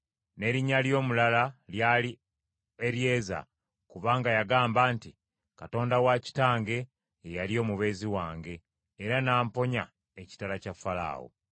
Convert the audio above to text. n’erinnya ly’omulala lyali Eryeza, kubanga yagamba nti, “Katonda wa kitange ye yali omubeezi wange, era n’amponya ekitala kya Falaawo.”